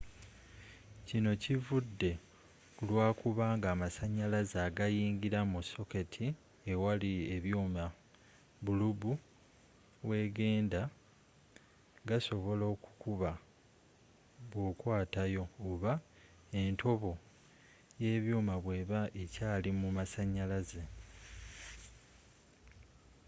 kinno kivude kulwakubanga amasanyalaze agayingira mu soketti ewali ebyuuma bulubu wegenda gasobola okukuba bwokwatayo oba entobo y'ebyuuma bweeba ekyaali mu masanyalaze